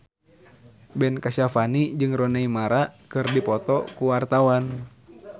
Ben Kasyafani jeung Rooney Mara keur dipoto ku wartawan